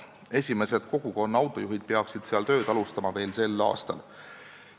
Esimesed kogukonna autojuhid peaksid seal veel sel aastal tööd alustama.